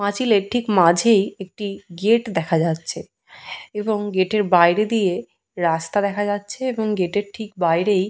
পাঁচিলের ঠিক মাঝে একটি গেট দেখা যাচ্ছে। এবং গেটের বাইরে দিয়ে রাস্তা দেখা যাচ্ছে। এবং গেটের ঠিক বাইরেই --